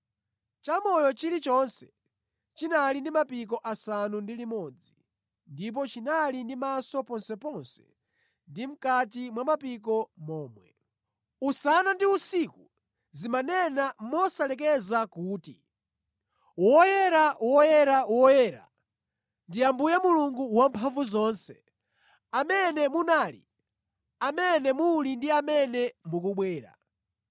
Chamoyo chilichonse chinali ndi mapiko asanu ndi limodzi, ndipo chinali ndi maso ponseponse ndi mʼkati mwa mapiko momwe. Usana ndi usiku zimanena mosalekeza kuti, “Woyera, woyera, woyera ndi Ambuye Mulungu Wamphamvuzonse, amene munali, amene muli ndi amene mukubwera.”